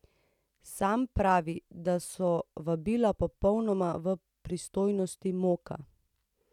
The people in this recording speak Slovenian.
Sam pravi, da so vabila popolnoma v pristojnosti Moka.